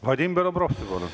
Vadim Belobrovtsev, palun!